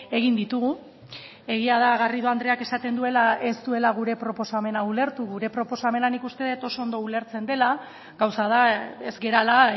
egin ditugu egia da garrido andreak esaten duela ez duela gure proposamena ulertu gure proposamena nik uste dut oso ondo ulertzen dela gauza da ez garela